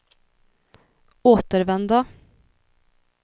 återvända